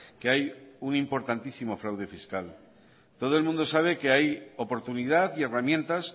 que hay un importantísima fraude fiscal todo el mundo sabe que hay oportunidad y herramientas